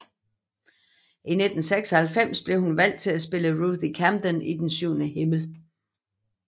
I 1996 blev hun valgt til at spille Ruthie Camden i I den syvende himmel